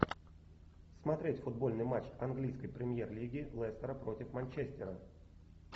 смотреть футбольный матч английской премьер лиги лестера против манчестера